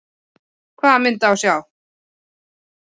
Hvaða mynd á að sjá?